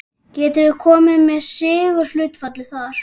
Getur þú komið með sigurhlutfallið þar?